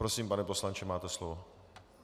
Prosím, pane poslanče, máte slovo.